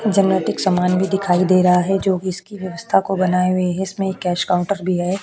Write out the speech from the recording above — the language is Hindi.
जनरेटिक सामान भी दिखाई दे रहा है जो की इसकी व्यवस्था को बनाए हुए है इसमें एक कैश काउंटर भी है।